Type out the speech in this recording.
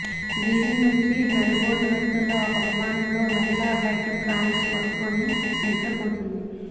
Beijing నుంచి Melbourne వెళుతున్న ఒక విమానం లో మహిళా హెడ్ ఫాన్స్ పెట్టుకుని నిద్ర పోతోంది